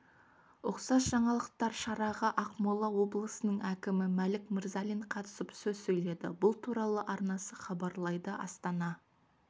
ұқсас жаңалықтар шараға ақмола облысының әкімі мәлік мырзалин қатысып сөз сөйледі бұл туралы арнасы хабарлайды астанада